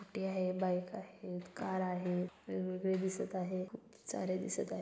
Scooty आहे. Bike आहेत. Car आहेत. वेगवेगळे दिसत आहे. खूप सारे दिसत आहे.